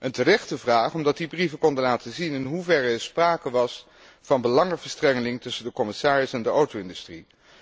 Een terechte vraag, omdat die brieven konden laten zien in hoeverre er sprake was van belangenverstrengeling tussen de commissaris en de auto industrie.